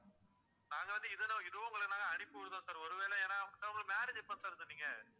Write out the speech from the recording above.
நாங்க வந்து இதுல இதுவும் ஒண்ணுல அனுப்பி விடுதோம் sir ஒரு வேளை ஏன்னா marriage எப்போ sir சொன்னீங்க